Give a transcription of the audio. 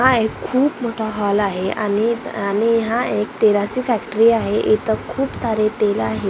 हा एक खूप मोठा हॉल आहे आणि हा एक तेलाची फॅक्टरी आहे इथं खूप सारे तेल आहेत.